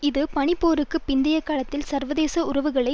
இது பனிப்போருக்கு பிந்தைய காலத்தில் சர்வதேச உறவுகளை